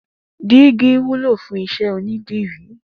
Digi wùló fùn iṣẹ ónìdirí